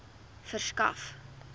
verskaf